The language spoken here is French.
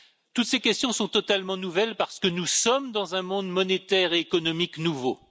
toutes ces questions sont totalement nouvelles parce que nous sommes dans un monde monétaire et économique nouveau.